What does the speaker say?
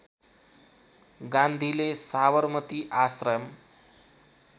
गान्धीले साबरमती आश्रम